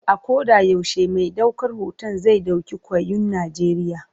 A koda yaushe mai daukar hoton zai dauki kyawun Najeriya.